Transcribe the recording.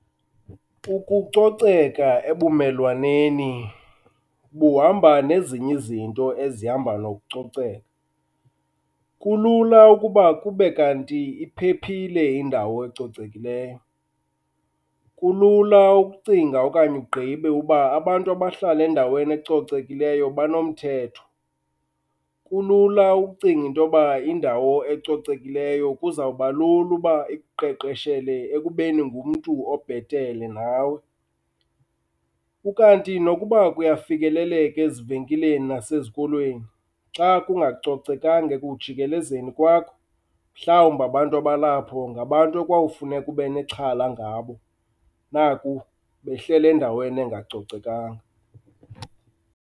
Ukucoceka ebumelwaneni buhamba nezinye izinto ezihamba nokucoceka. Kulula ukuba kube kanti iphephile indawo ecocekileyo, kulula ukucinga okanye ugqibe uba abantu abahlala kwindawo ecocekileyo banomthetho. Kulula ukucinga intoba indawo ecocekileyo kuzawuba lula uba ikuqeqeshele ekubeni ngumntu obhetele nawe. Ukanti nokuba kuyafikeleleka ezivenkileni nasezikolweni, xa kungacocekanga ekujikelezeni kwakho mhlawumbi abantu abalapho ngabantu ekwawufuneka ube nexhala ngabo, naku behleli endaweni engacocekanga.